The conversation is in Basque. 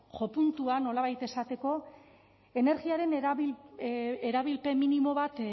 jopuntua nolabait esateko energiaren erabilpen minimo bat